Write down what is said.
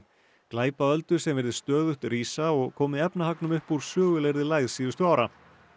glæpaöldu sem virðist stöðugt rísa og komi efnahagnum upp úr sögulegri lægð síðustu ára